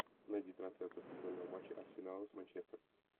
найди трансляцию футбольного матча арсенала с манчестер